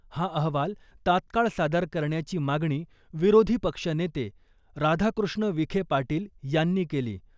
हा अहवाल तात्काळ सादर करण्याची मागणी विरोधी पक्षनेते राधाकृष्ण विखे पाटील यांनी केली .